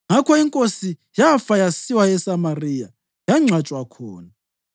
Ngakho inkosi yafa yasiwa eSamariya, yangcwatshwa khona.